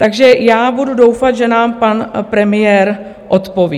Takže já budu doufat, že nám pan premiér odpoví.